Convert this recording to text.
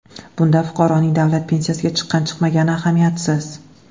Bunda fuqaroning davlat pensiyasiga chiqqan-chiqmagani ahamiyatsiz.